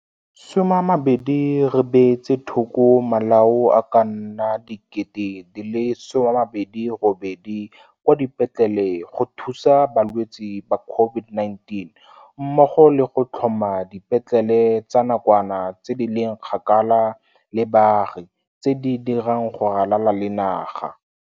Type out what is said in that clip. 20 Re beetse thoko malao a ka nna 28 000 kwa dipetlele go thusa balwetse ba COVID-19 mmogo le go tlhoma dipetlele tsa nakwana tse di leng kgakala le baagi tse di dirang go ralala le naga.